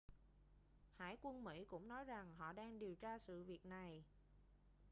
hải quân mỹ cũng nói rằng họ đang điều tra sự việc này